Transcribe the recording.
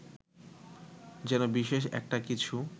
যেন বিশেষ একটা কিছু